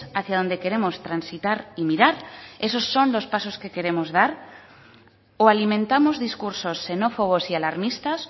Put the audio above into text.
hacia donde queremos transitar y mirar esos son los pasos que queremos dar o alimentamos discursos xenófobos y alarmistas